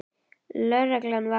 Lögreglan var kölluð út.